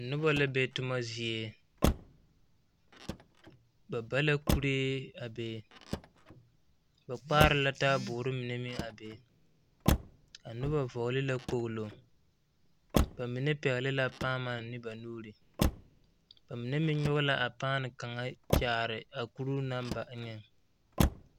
Noba la be tomazie ba ba la kuree be ba kpaare la taaboore mine a be a noba vɔgle la kpoglo bamine pɛgle paama ne ba nuuri ba mine meŋ nyɔge la a paama are a kuruu naŋ ba eŋɛ.